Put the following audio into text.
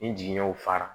Ni jigiɲɛw fara